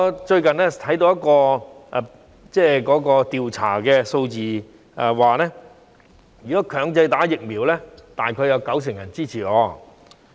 最近，我看到一項調查的數字顯示，如果強制注射疫苗，大約有九成人支持。